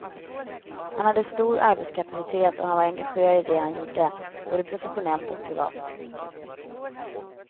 Han hade stor arbetskapacitet och han var engagerad i det han gjorde, både professionellt och privat.